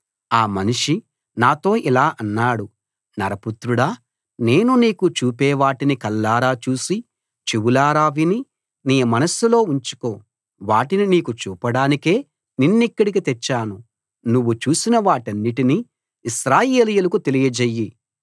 ఆ మనిషి నాతో ఇలా అన్నాడు నరపుత్రుడా నేను నీకు చూపేవాటిని కళ్ళారా చూసి చెవులార విని నీ మనస్సులో ఉంచుకో వాటిని నీకు చూపడానికే నిన్నిక్కడికి తెచ్చాను నువ్వు చూసిన వాటన్నిటిని ఇశ్రాయేలీయులకు తెలియజెయ్యి